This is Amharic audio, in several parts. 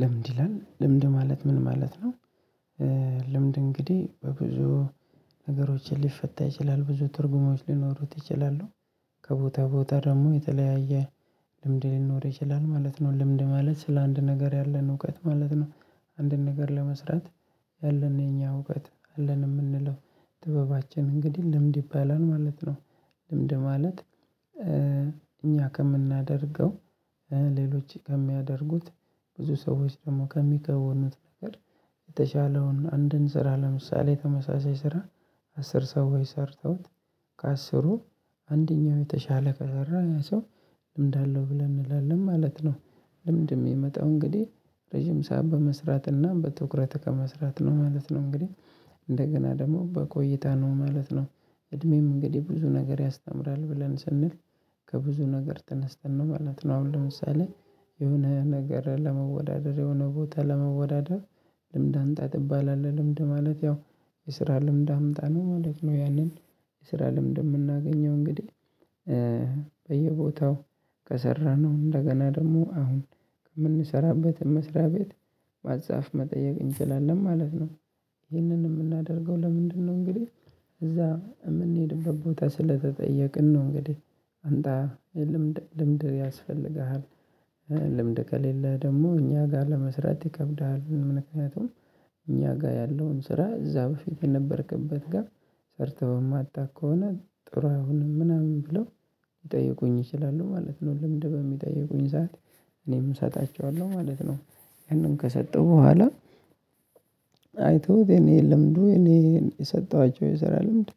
ለምንድን ይላል ለምንድነው ማለት ምን ማለት ነው? ልምድ እንግዲህ በብዙ ነገሮች ሊፈታ ይችላል ብዙ ትርጉሞች ሊኖሩት ይችላሉ። ከቦታ ቦታ ደግሞ የተለያየ ልምድ ሊኖር ይችላል ማለት ነው። ልምድ ማለት ስለአንድ ነገር ያለን እውቀት ማለት ነው። አንድን ነገር ለመስራት ያለን የኛ እውቀት አለን የምንለው ጥበባችን እንግዲህ ልምድ ይባላል ማለት ነው። ልምድ ማለት እኛ ከምናደርገው ሌሎች ከሚያደርጉት ብዙ ሰዎች ደግሞ ከሚከውኑት ነገር የተሻለውን አንድን ስራ ለምሳሌ ተመሳሳይ ስራ አስር ሰው ወይ ሰርተውት ከአስሩ አንደኛው የተሻለ ከሰራ ያ ሰው ልምድ አለው ብለን እንላለን ማለት ነው። ልምድ የሚመጣው እንግዲህ ረጅም ሰዓት በመስራትና በትኩረት ከመስራት ነው ማለት ነው እንግዲህ እንደገና ደግሞ በቆይታ ነው ማለት ነው። እድሜም እንግዲህ ብዙ ነገር ያስተምራል ብለን ስንል ከብዙ ነገር ተነስተን ነው ማለት ነው። አሁን ለምሳሌ የሆነ ነገር ለመወዳደር የሆነ ቦታ ለመወዳደር ልምድ አምጣ ትባላለህ። ልምድ ማለት ያው የስራ ልምድ አምጣ ነው ማለት ነው። ያንን የስራ ልምድ የምናገኘው እንግዲህ በየቦታው ከሰራነው እንደገና ደግሞ አሁን ከምንሰራበት መስሪያ ቤት ማስጻፍ መጠየቅ እንችላለን ማለት ነው። ይህንን የምናደርገው ለምንድነው እንግዲህ እዛ የምንሄድበት ቦታ ስለተጠየቅን ነው እንግዲህ አንተ ልምድ ልምድ ያስፈልግሃል። ልምድ ከሌለ ደግሞ እኛ ጋር ለመስራት ይከብድሃል። ምክንያቱም እኛ ጋር ያለውን ስራ እዛ በፊት የነበርክበት ጋር ሰርተህ በማታቅ ከሆነ ጥሩ አይሆንም ምናምን ብለው ይጠይቁኝ ይችላሉ ማለት ነው። ልምድ በሚጠይቁኝ ሰዓት እኔም እሰጣቸዋለሁ ማለት ነው። ያንን ከሰጠሁ በኋላ አይተውት የኔ ልምዱ የኔ የሰጠኋቸው የሰራ ልምድ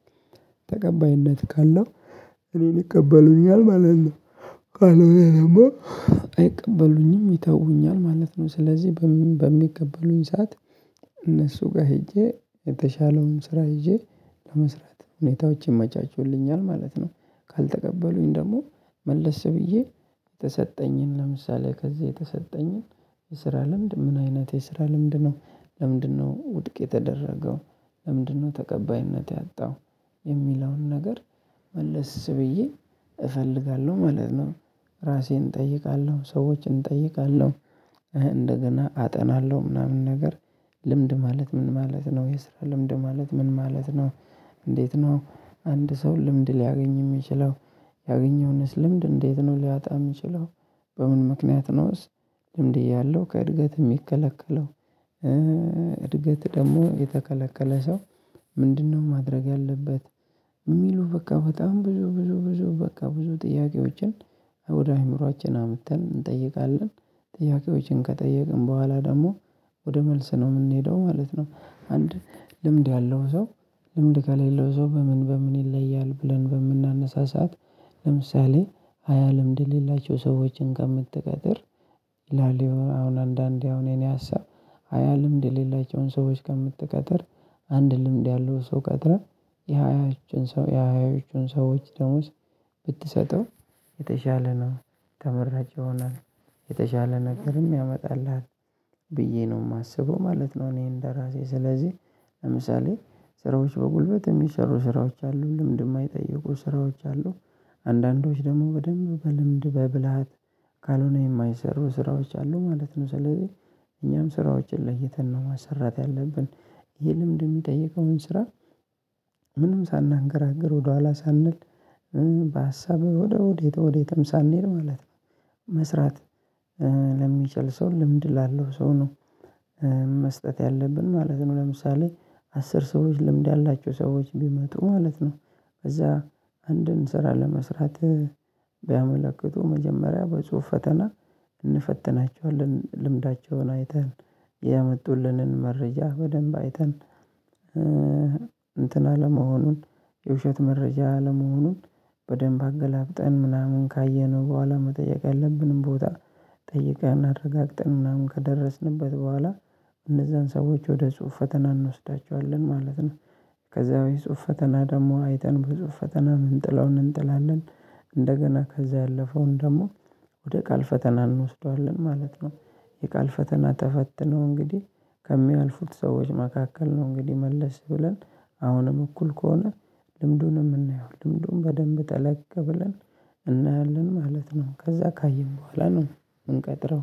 ተቀባይነት ካለው እኔን ይቀበሉኛል ማለት ነው። ካለው እኔናማ አይቀበሉኝም ይተውኛል ማለት ነው። ስለዚህ በምን በሚቀበሉኝ ሰዓት እነሱ ጋር ሄጄ የተሻለውን ስራ ይዠ ለመስራት ሁኔታዎች ይመቻቸውልኛል ማለት ነው። ካልተቀበሉኝ ደግሞ መለስ ብዬ የተሰጠኝን ለምሳሌ ከዚህ የተሰጠኝን የስራ ልምድ ምን አይነት የስራ ልምድ ነው ለምንድነው ውድቅ የተደረገው? ለምንድነው ተቀባይነት ያጣው? የሚለውን ነገር መለስ ብዬ እፈልጋለሁ ማለት ነው። ራሴን እጠይቃለሁ ሰዎችን እጠይቃለሁ። እንደገና አጠናለሁ ምናምን ነገር። ልምድ ማለት ምን ማለት ነው? የስራ ልምድ ማለት ምን ማለት ነው? እንዴት ነው አንድ ሰው ልምድ ሊያገኝ የሚችለው? ያገኘውንስ ልምድ እንዴት ነው ሊያወጣ የምንችለው? በምን ምክንያት ነውስ? ልምድ እያለሁ ከእድገት የሚከለከለው? እድገት ደግሞ የተከለከለ ሰው ምንድነው ማድረግ ያለበት? የሚሉ በቃ በጣም ብዙ ብዙ ብዙ በቃ ብዙ ጥያቄዎችን ወደ አእምሮአችን አምጥተን እንጠይቃለን። ጥያቄዎችን ከጠየቅን በኋላ ደግሞ ወደ መልስ ነው የምንሄደው ማለት ነው። አንድ ልምድ ያለው ሰው ልምድ ከሌለው ሰው በምን በምን ይለያል ብለን በምናነሳ ስዓት። ለምሳሌ ሃያ ልምድ የሌላቸው ሰዎችን ከምትቀጥር ላሊዮን አሁን አንዳንዴ አሁን የኔ ሀሳብ ሃያ ልምድ የሌላቸውን ሰዎች ከምትቀጥር አንድ ልምድ ያለው ሰው ቀጥረህ የሃያዎቻችን ሰው የሃያዎቻችን ሰዎች ደሞዝ ብትሰጠው የተሻለ ነው ተመራጭ ይሆናል። የተሻለ ነገርም ያመጣልሃል። ብዬ ነው የማስበው ማለት ነው። እኔ እንደራሴ ስለዚህ ለምሳሌ ስራዎች በጉልበት የሚሰሩ ስራዎች አሉ ልምድ የማይጠይቁ ስራዎች አሉ። አንዳንዶች ደግሞ በደንብ በልምድ በብልሃት ካልሆነ የማይሰሩ ስራዎች አሉ ማለት ነው። ስለዚህ እኛም ስራዎችን ለይተን ነው ማሰራት ያለብን። ይህ ልምድ የሚጠይቀውን ስራ ምንም ሳናንገራግር ወደኋላ ሳንል በሀሳብ ወደ ወዴት ወዴትም ሳንል ማለት ነው። መስራት ለሚችል ሰው ልምድ ላለው ሰው ነው። መስጠት ያለብን ማለት ነው። ለምሳሌ አስር ሰዎች ልምድ ያላቸው ሰዎች ቢመጡ ማለት ነው። እዛ አንድን ስራ ለመስራት ቢያመለክቱ መጀመሪያ በጽሁፍ ፈተና እንፈትናቸዋለን ልምዳቸውን አይተን ያመጡልንን መረጃ በደንብ አይተን እንትን አለመሆኑን የውሸት መረጃ አለመሆኑን በደንብ አገላብጠን ምናምን ካየነው በኋላ መጠየቅ ያለብንን ቦታ ጠይቀን አረጋግጠን ምናምን ከደረስንበት በኋላ እነዛን ሰዎች ወደ ጽሁፍ ፈተና እንወስዳቸዋለን ማለት ነው። ከዛ የጽሁፍ ፈተና ደግሞ አይተን በጽሁፍ ፈተና ምንጥለውን እንጥላለን እንደገና ከዛ ያለፈውን ደግሞ ወደ ቃል ፈተና እንወስደዋለን ማለት ነው። የቃል ፈተና ተፈትነው እንግዲህ ከሚያልፉት ሰዎች መካከል ነው እንግዲህ መለስ ብለን አሁንም እኩል ከሆነ ልምዱንም እናየዋለን ልምዱን በደንብ ጠለቅ ብለን እናያለን ማለት ነው። ከዛ ካየን በኋላ ነው። ምንቀጥረው